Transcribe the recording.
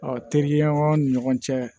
terikɛ ɲɔgɔn ni ɲɔgɔn cɛ